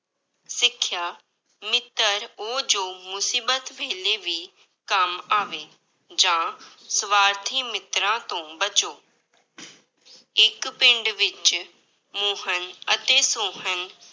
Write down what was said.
ਸਿੱਖਿਆ, ਮਿੱਤਰ ਉਹ ਜੋ ਮੁਸੀਬਤ ਵੇਲੇ ਵੀ ਕੰਮ ਆਵੇ, ਜਾਂ ਸਵਾਰਥੀ ਮਿੱਤਰਾਂ ਤੋਂ ਬਚੋ ਇੱਕ ਪਿੰਡ ਵਿੱਚ ਮੋਹਨ ਅਤੇ ਸੋਹਨ